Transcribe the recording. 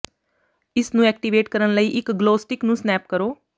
ਇਸ ਨੂੰ ਐਕਟੀਵੇਟ ਕਰਨ ਲਈ ਇੱਕ ਗਲੋ ਸਟਿੱਕ ਨੂੰ ਸਨੈਪ ਕਰੋ